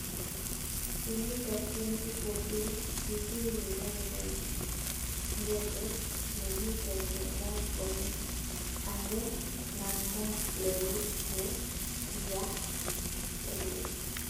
kenyit ap 2014 kigiwiren koita ngetet negiten kotar komeee angenamdaak lelut ne ki yareen